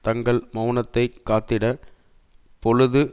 தங்கள் மெளனத்தைக் காத்திட்ட பொழுது